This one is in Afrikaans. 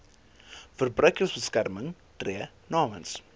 verbruikersbeskermer tree namens